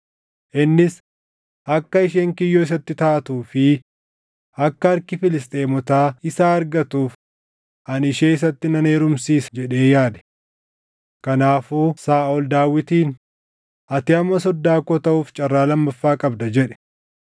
Innis, “Akka isheen kiyyoo isatti taatuu fi akka harki Filisxeemotaa isa argatuuf ani ishee isatti nan heerumsiisa” jedhee yaade. Kanaafuu Saaʼol Daawitiin, “Ati amma soddaa koo taʼuuf carraa lammaffaa qabda” jedhe.